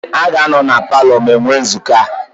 Ha ga-anọ na paalọ m enwe nzukọ ha.